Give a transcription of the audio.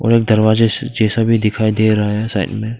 और एक दरवाजे से जैसा भी दिखाई दे रहा है साइड में--